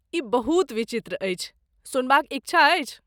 ई बहुत विचित्र अछि, सुनबाक इच्छा अछि?